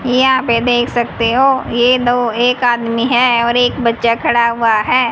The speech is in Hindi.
यहां पे देख सकते हो ये दो एक आदमी है और एक बच्चा खड़ा हुआ है।